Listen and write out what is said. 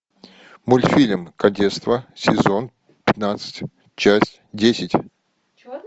мультфильм кадетство сезон пятнадцать часть десять